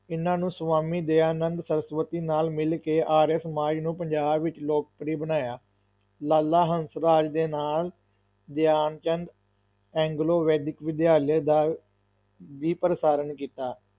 ਇਹਨਾਂ ਨੂੰ ਸਵਾਮੀ ਦਯਾਨੰਦ ਸਰਸਵਤੀ ਨਾਲ ਮਿਲ ਕੇ ਆਰੀਆ ਸਮਾਜ ਨੂੰ ਪੰਜਾਬ ਵਿੱਚ ਲੋਕਪ੍ਰਿਅ ਬਣਾਇਆ, ਲਾਲਾ ਹੰਸਰਾਜ ਦੇ ਨਾਲ ਧਿਆਨਚੰਦ, ਐਂਗਲੋ-ਵੈਦਿਕ ਵਿਦਿਆਲਿਆਂ ਦਾ ਵੀ ਪ੍ਰਸਾਰਨ ਕੀਤਾ।